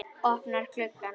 Opnar glugga.